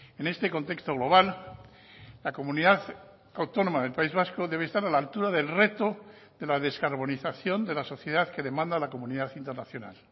en este contexto global la comunidad autónoma del país vasco debe estar a la altura del reto de la descarbonización de la sociedad que demanda la comunidad internacional